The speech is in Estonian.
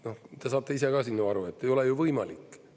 Te saate ise ka siin ju aru, et ei ole ju võimalik.